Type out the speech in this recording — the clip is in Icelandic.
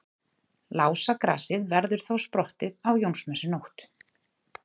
Lásagrasið verður þá sprottið á Jónsmessunótt.